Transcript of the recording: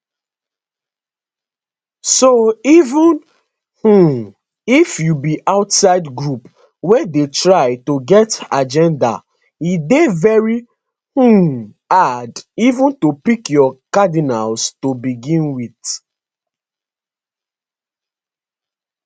so even um if you be outside group wey dey try to get agenda e dey very um hard even to pick your cardinals to begin wit